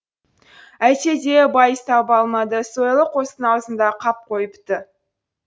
әйтсе де байыз таба алмады сойылы қостың аузында қап қойыпты